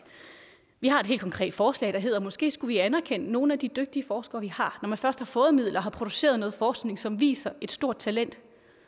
vi har et helt konkret forslag der hedder måske skulle anerkende nogle af de dygtige forskere vi har når man først har fået midler har produceret noget forskning som viser et stort talent